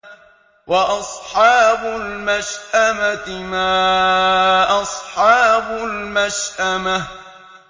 وَأَصْحَابُ الْمَشْأَمَةِ مَا أَصْحَابُ الْمَشْأَمَةِ